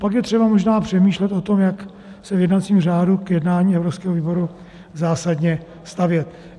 Pak je třeba možná přemýšlet o tom, jak se v jednacím řádu k jednání evropského výboru zásadně stavět.